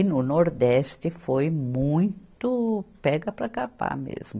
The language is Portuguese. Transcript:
E no Nordeste foi muito pega para capar mesmo.